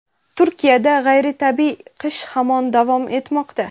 Turkiyada g‘ayritabiiy qish hamon davom etmoqda.